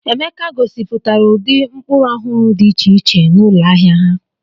Emeka gosipụtara ụdị mkpụrụ ọhụrụ dị iche iche n'ụlọ ahịa ha.